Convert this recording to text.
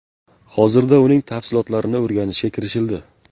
Hozirda uning tafsilotlarini o‘rganishga kirishildi.